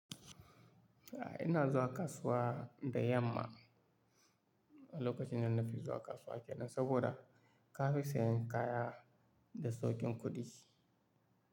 A ina zuwa kasuwa da yamma lokacin da na fi zuwa kasuwa ke nan saboda ka fi sayan kaya da sauƙin kuɗi.